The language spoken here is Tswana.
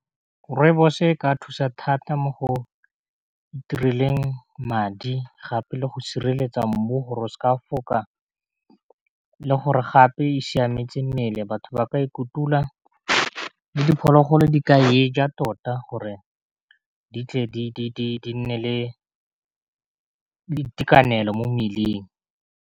Rooibos-o e ka thusa thata mo go itireleng madi, gape le go sireletsa mmu gore o seke a foka, le gore gape e siametse mmele gore batho ba ka e kutula, ke diphologolo di ka eja tota, gore di tle di nne le itekanelo mo mmeleng.